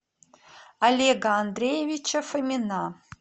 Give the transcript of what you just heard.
олега андреевича фомина